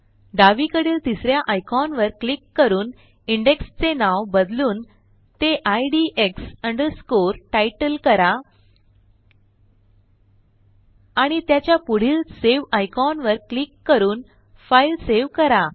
डावीकडील तिस या आयकॉनवर क्लिक करून इंडेक्स चे नाव बदलून ते IDX underscoreTitle करा आणि त्याच्या पुढील सावे आयकॉनवर क्लिक करून फाईल सेव्ह करा